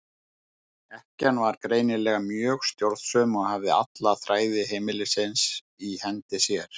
Ekkjan var greinilega mjög stjórnsöm og hafði alla þræði heimilisins í hendi sér.